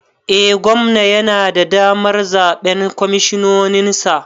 Eh gwamna yana da damar zaɓen kwamishinoninsa